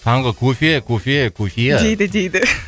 таңғы кофе кофе кофиа дейді дейді